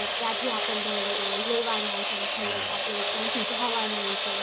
ક્યાં થી આપણે લેવાના છે મતલબ આપણું ક્યાંથી જવાનું છે